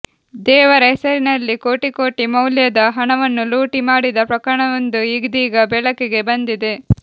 ದೇವರ ಹೆಸರಿನಲ್ಲಿ ಕೋಟಿ ಕೋಟಿ ಮೌಲ್ಯದ ಹಣವನ್ನು ಲೂಟಿ ಮಾಡಿದ ಪ್ರಕರಣವೊಂದು ಇದೀಗ ಬೆಳಕಿಗೆ ಬಂದಿದೆ